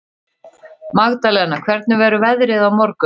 Magdalena, hvernig verður veðrið á morgun?